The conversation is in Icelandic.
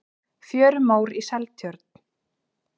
fjörumór í seltjörn